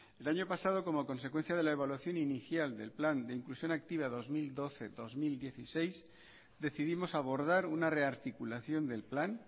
el año pasado como consecuencia de la evaluación inicial del plan de inclusión activa dos mil doce dos mil dieciséis decidimos abordar una rearticulación del plan